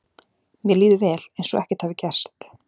Mér líður vel, eins og ekkert hafi gerst.